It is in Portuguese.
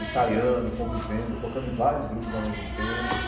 Ensaiando, convivendo, tocando em vários grupos ao mesmo tempo.